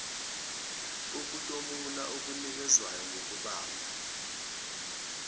ukutomula okunikezwayo ngokubamba